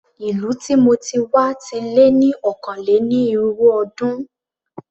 Ìlú tí mo ti wá ti lé ní ọ̀kàn-lé-ní-irínwó ọdún.